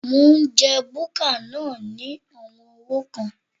Mò ń jẹ búkà náà ní àwọn owó kan.